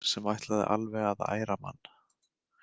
Þögn sem ætlaði alveg að æra mann.